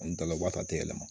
An dala waati yɛlɛma